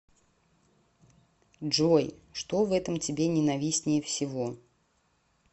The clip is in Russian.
джой что в этом тебе ненавистнее всего